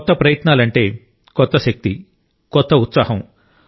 కొత్త ప్రయత్నాలు అంటే కొత్త శక్తి కొత్త ఉత్సాహం